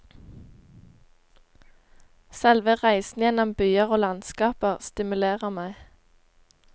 Selve reisen gjennom byer og landskaper stimulerer meg.